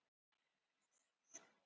Sú blekking entist aðeins andartak.